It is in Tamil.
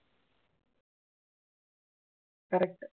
correct